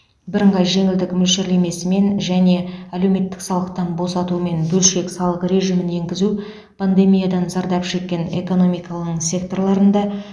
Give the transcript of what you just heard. бірыңғай жеңілдік мөлшерлемесімен және әлеуметтік салықтан босатумен бөлшек салық режимін енгізу пандемиядан зардап шеккен экономиканың секторларында